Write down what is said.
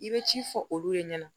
I bɛ ci fɔ olu de ɲɛna